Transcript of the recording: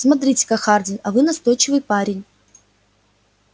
смотрите-ка хардин а вы настойчивый парень